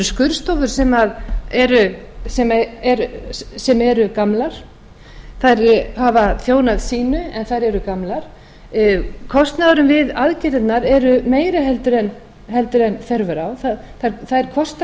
undir landspítalann það er bara þannig þetta eru skurðstofur sem eru gamlar þær hafa þjónað sínu en þær eru gamlar kostnaðurinn við aðgerðirnar er meiri en þörf er á þær kosta það sama